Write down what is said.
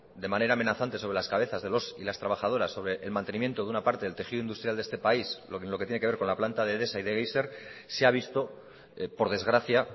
de manera amenazante sobre las cabezas de los y las trabajadores sobre el mantenimiento de una parte del tejido industrial de este país en lo que tiene que ver con la planta de edesa y de geyser se ha visto por desgracia